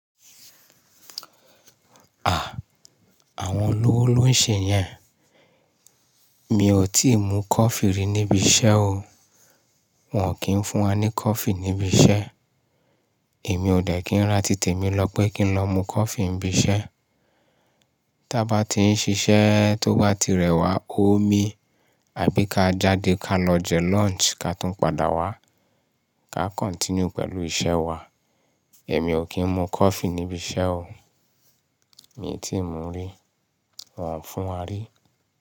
À, àwọn olówó ló ń ṣe yẹn. Mi ò tíì mú coffee rí níbi iṣẹ́ o. Wọn ò kí ń fún wá ní coffee níbi iṣẹ́. Èmi ò dẹ̀ kí ń ra títè mi lọ pé kí n lọ mu coffee níbi iṣẹ́. Tí a bá ti ń ṣiṣẹ́ tó bá ti rẹwà omi, àbí ká jáde ká lọ jẹ lunch ká tún padà wá ká continue pẹ̀lú iṣẹ́ wa. Ẹ̀mi ò kí ń mú coffee níbi iṣẹ́ o. Mi ò tíì mú rí, wọn ò fún wá rí.